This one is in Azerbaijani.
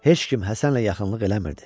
Heç kim Həsənlə yaxınlıq eləmirdi.